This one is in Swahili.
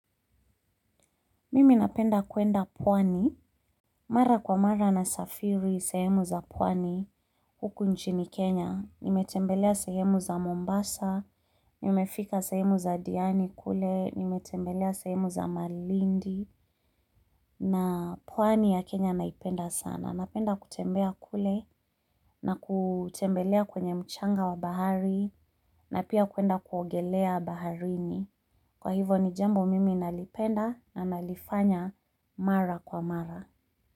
Mimi napenda kuenda pwani mara kwa mara nasafiri sehemu za pwani huku nchini Kenya. Nimetembelea sehemu za Mombasa, nimefika sehemu za Diani kule, nimetembelea sehemu za Malindi na pwani ya Kenya naipenda sana. Napenda kutembea kule na kutembelea kwenye mchanga wa bahari na pia kuenda kuogelea baharini. Kwa hivo ni jambo mimi nalipenda na nalifanya mara kwa mara.